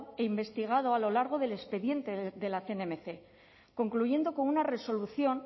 e investigado a lo largo del expediente de la cnmc concluyendo con una resolución